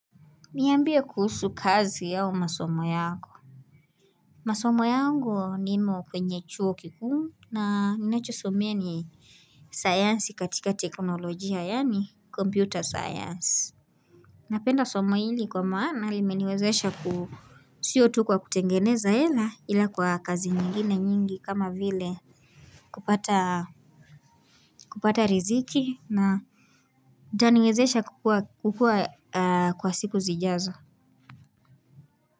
Niambia kuhusu kazi au masomo yako. Masomo yangu nimo kwenye chuo kikuu na ninachosomea ni science katika teknolojia yaani computer science. Napenda somo hili kwa maana limeniwezesha ku sio tu kwa kutengeneza hela ila kwa kazi nyingine nyingi kama vile kupata riziki na itaniwezesha kukua kukua kwa siku zijazo.